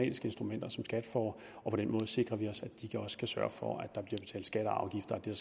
instrumenter som skat får og på den måde sikrer vi os at de også kan sørge for at der bliver skat og afgifter af det